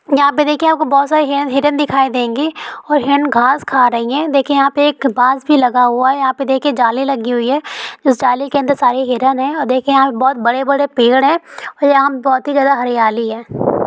यहाँ पे देखिए आपको बहुत सारे हिरण हिरण दिखाई देंगी और हिरण घास खा रही है देखिए यहाँ पे एक बांस भी लगा हुआ है और यहाँ पे देखिए जाले लगी हुई है इस जाले के अंदर सारे हिरण है और देखिए यहाँ पे बहुत बड़े-बड़े पेड़ है और यहाँ पे बहुत ही ज्यादा हरियाली है।